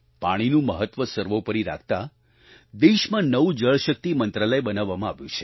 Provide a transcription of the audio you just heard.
પાણીનું મહત્વ સર્વોપરી રાખતા દેશમાં નવું જળશક્તિ મંત્રાલય બનાવવામાં આવ્યું છે